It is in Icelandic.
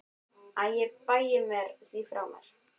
Æ ég bægi því frá mér.